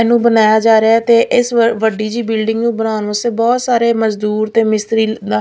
ਇਹਨੂੰ ਬਣਾਇਆ ਜਾ ਰਿਹਾ ਤੇ ਇਸ ਵੱਡੀ ਜਿਹੀ ਬਿਲਡਿੰਗ ਨੂੰ ਬਣਾਉਣ ਵਾਸਤੇ ਬਹੁਤ ਸਾਰੇ ਮਜ਼ਦੂਰ ਤੇ ਮਿਸਤਰੀ--